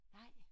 Nej